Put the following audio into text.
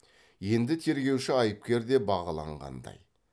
енді тергеуші айыпкер деп бағалағандай